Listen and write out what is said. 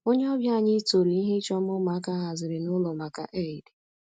Onye ọbịa anyị toro ihe ịchọ mma ụmụaka haziri n'ụlọ maka eid.